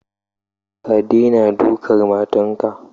Ka daina dukan matarka!